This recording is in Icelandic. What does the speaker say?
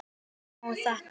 Má þetta?